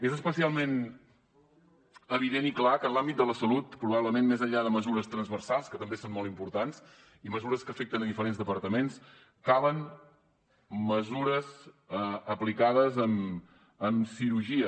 és especialment evident i clar que en l’àmbit de la salut probablement més enllà de mesures transversals que també són molt importants i mesures que afecten diferents departaments calen mesures aplicades amb cirurgia